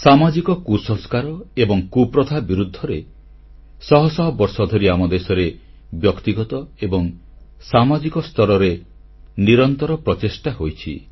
ସାମାଜିକ କୁସଂସ୍କାର ଏବଂ କୁପ୍ରଥା ବିରୁଦ୍ଧରେ ଶହ ଶହ ବର୍ଷ ଧରି ଆମଦେଶରେ ବ୍ୟକ୍ତିଗତ ଏବଂ ସାମାଜିକ ସ୍ତରରେ ନିରନ୍ତର ପ୍ରଚେଷ୍ଟା ହୋଇଛି